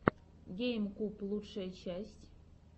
гейм куб лучшая часть